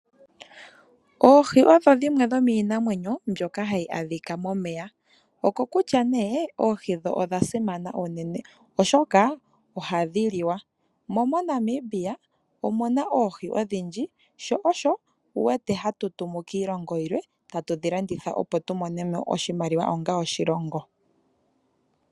Oohi odho dhimwe dhomiinamwenyo mbyoka hayi adhika momeya ,okokutya nee oohi dho odhasimana unene oshoka ohadhi liwa mo moNamibia omuna oohi odhindji sho osho wuwete hatu tumu kiilongo yilwe tatu dhi landitha opo tumonemo oshimaliwa onga oshilongo.